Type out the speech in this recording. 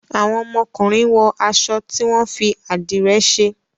Àwọn ọmọkunrin wọ aṣọ tí wón fí adire ṣe